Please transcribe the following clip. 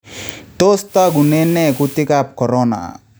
Tos togunen nee kuutikaab corona